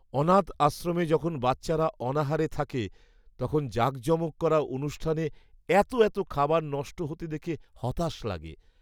অনাথ আশ্রমে যখন বাচ্চারা অনাহারে থাকে, তখন জাঁকজমক করা অনুষ্ঠানে এত এত খাবার নষ্ট হতে দেখে হতাশ লাগে।